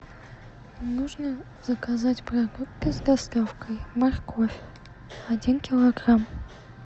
нужно заказать продукты с доставкой морковь один килограмм